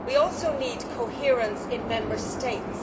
We also need coherence in Member States.